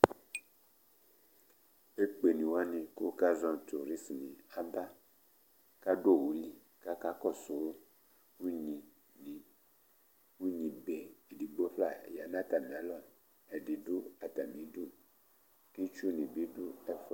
Ekpe ni wani kʋ akazɔ nʋ turisi aba kʋ adu owʋ li kʋ akakɔsu ʋnyi ni Ʋnyi be ɛdigbo fla ya nʋ atami alɔ Ɛdi du atami idu kʋ itsʋ ni bi du ɛfʋɛ